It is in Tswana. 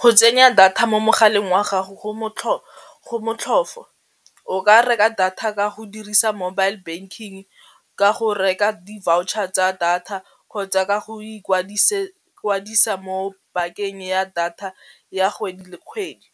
Go tsenya data mo mogaleng wa gago go motlhofo, o ka reka data ka go dirisa mobile banking ka go reka di-voucher tsa data kgotsa ka go ikwadisa mo bakeng ya data ya kgwedi le kgwedi,